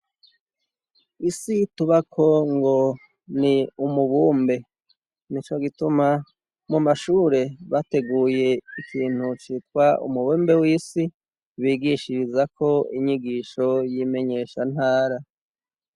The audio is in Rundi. isi tubako ngo ni umubumbe nico gituma mu mashure bateguye ikintu citwa umubumbe w'isi bigishirizako inyigisho y'imenyeshantara.